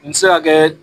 N ti se ka kɛ